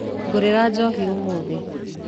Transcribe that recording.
Ngũrĩra njohi ũmũthĩ.